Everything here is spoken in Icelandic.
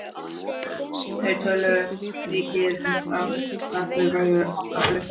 Þau töluðu mikið um það hvað þau væru alltaf blönk.